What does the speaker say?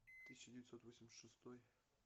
тысяча девятьсот восемьдесят шестой